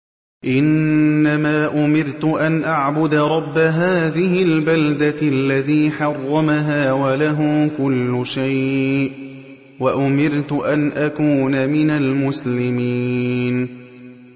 إِنَّمَا أُمِرْتُ أَنْ أَعْبُدَ رَبَّ هَٰذِهِ الْبَلْدَةِ الَّذِي حَرَّمَهَا وَلَهُ كُلُّ شَيْءٍ ۖ وَأُمِرْتُ أَنْ أَكُونَ مِنَ الْمُسْلِمِينَ